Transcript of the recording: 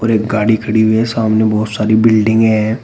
एक गाड़ी खड़ी हुई है सामने बहुत सारी बिल्डिंगे है।